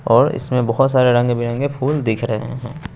और इसमें बहोत सारे रंग बिरंगे फुल दिख रहे हैं।